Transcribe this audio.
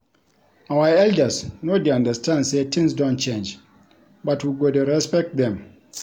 Our elders no dey understand sey tins don change but we go dey respect dem.